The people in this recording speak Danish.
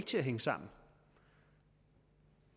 til at hænge sammen